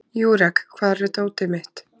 Júrek, hvar er dótið mitt?